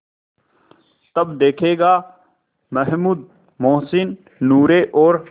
तब देखेगा महमूद मोहसिन नूरे और